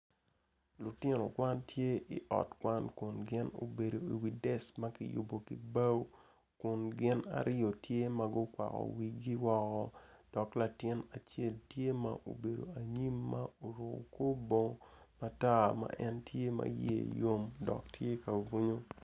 Lutino kwan tye obedo i ot kwan kun gin obedo iwi dec ma kiyubo ki bao kun gin aryo tye ma gukwako wigi woko dok latin acel tye ma obedo anyim ma oruko korbongo matar ma en tye iye yom dok tye ka bwunyo.